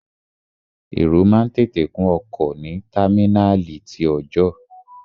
Èrò máa ń tètè kún ọkọ̀ ní támínàlí ti ọọ̀jọ́.